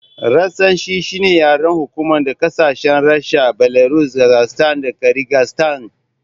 Rashanci shine yaren hukuma na ƙasashen Rasha, Belarus Kazakstan da Kirigistan